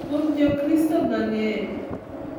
Kuom Jokristo mang’eny.